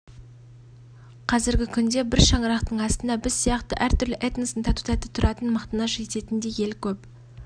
қазіргі күнде бір шаңырақтың астында біз сияқты әр түрлі этностың тату-тәтті тұратынын мақтаныш ететіндей ел көп